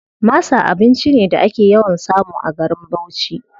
Masa abinci ne da ake yawan samu a garin Bauchi.